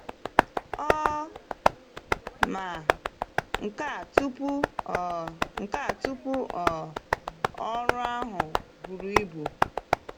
Ọ ma nka tupu um nka tupu um ọrụ ahụ buru ibu?